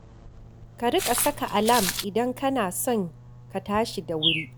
Ka riƙa saka alam idan kana son ka tashi da wuri